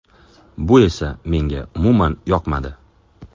Bu esa menga umuman yoqmadi.